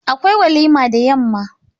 Akwai walima da yamma.